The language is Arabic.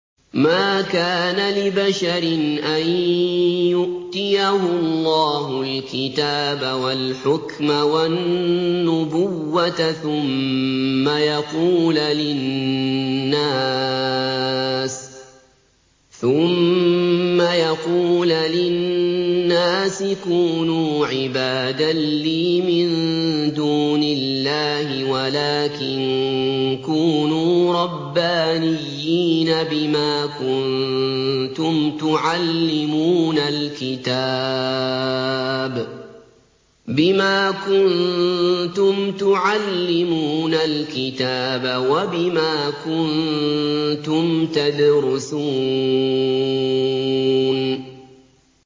مَا كَانَ لِبَشَرٍ أَن يُؤْتِيَهُ اللَّهُ الْكِتَابَ وَالْحُكْمَ وَالنُّبُوَّةَ ثُمَّ يَقُولَ لِلنَّاسِ كُونُوا عِبَادًا لِّي مِن دُونِ اللَّهِ وَلَٰكِن كُونُوا رَبَّانِيِّينَ بِمَا كُنتُمْ تُعَلِّمُونَ الْكِتَابَ وَبِمَا كُنتُمْ تَدْرُسُونَ